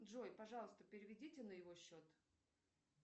джой пожалуйста переведите на его счет